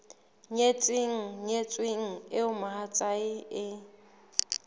nyetseng nyetsweng eo mohatsae e